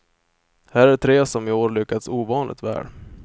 Här är tre som i år lyckats ovanligt väl.